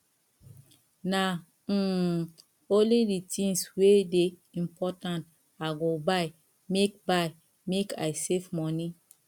na um only di tins wey dey important i go buy make buy make i save moni